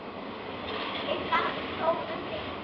Er það þó umdeilt